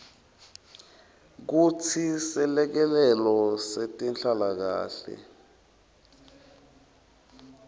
kutsi selekelelo setenhlalakanhle